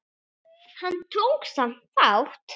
Hann tók samt þátt.